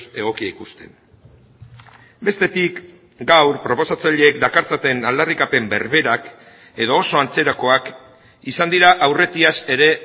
egokia ikusten bestetik gaur proposatzaileek dakartzaten aldarrikapen berberak edo oso antzerakoak izan dira aurretiaz ere